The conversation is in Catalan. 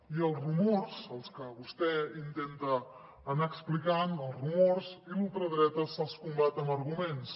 i als rumors els que vostè intenta anar explicant i la ultradreta se’ls combat amb arguments